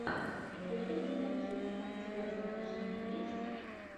федор бондарчук у тебя в загашнике есть